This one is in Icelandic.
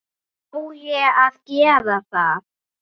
Á ég að gera það?